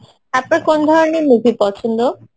আপনার কোন ধরনের movie পছন্দ?